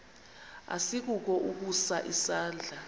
asikukho ukusa isandla